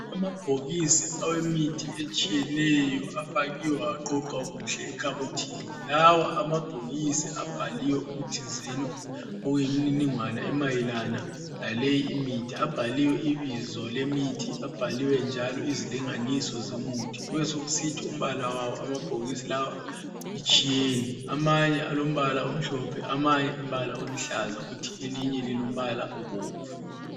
Amabhokisi awemithi etshiyeneyo afakiwe aqoqwa kuhle ekhabothini. Lawa amabhokisi abhaliwe ikuthi zeno, okuyimininingwana emayelana laleyi imithi. Abhaliwe ibizo lemithi. Abhaliwe njalo izilinganiso zomuthi. Kubesokusithi umbala wawo amabhokisi lawa itshiyene. Amanye alombala omhlophe, amanye umbala oluhlaza, kuthi elinye lilombala obomvu.